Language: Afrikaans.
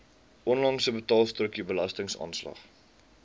onlangse betaalstrokie belastingaanslag